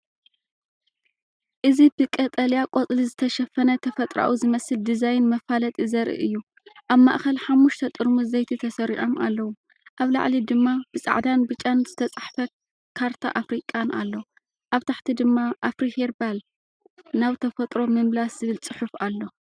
እዚ ብቀጠልያ ቆጽሊ ዝተሸፈነ ተፈጥሮኣዊ ዝመስል ዲዛይን መፋለጢ ዘርኢ እዩ። ኣብ ማእከል ሓሙሽተ ጥርሙዝ ዘይቲ ተሰሪዖም ኣለዉ። ኣብ ላዕሊ ድማ ብጻዕዳን ብጫን ዝተጻሕፈ ካርታ ኣፍሪቃን ኣሎ፣ ኣብ ታሕቲ ድማ ኣፍሪ ሄርባል – ናብ ተፈጥሮ ምምላስ ዝብል ጽሑፍ ኣሎ።